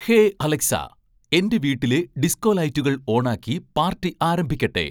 hey Alexa എൻ്റെ വീട്ടിലെ disco ലൈറ്റുകൾ ഓണാക്കി പാർട്ടി ആരംഭിക്കട്ടെ